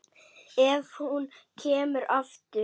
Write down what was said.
Ef hún kemur aftur.